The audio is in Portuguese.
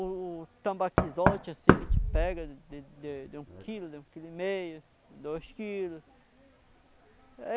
O tambaquizote, assim, que a gente pega de de de um quilo, de um quilo e meio, dois quilo.